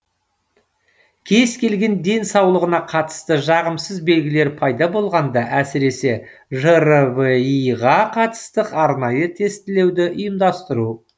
кез келген денсаулығына қатысты жағымсыз белгілер пайда болғанда әсіресе жрви ға қатысты арнайы тестілеуді ұйымдастыру